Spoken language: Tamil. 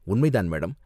உண்மை தான், மேடம்.